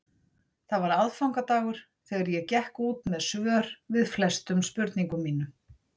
Það var aðfangadagur þegar ég gekk út með svör við flestum spurningum mínum.